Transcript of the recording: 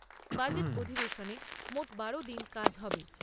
Budget অধিবেশনে মোট বারো দিন কাজ হবে।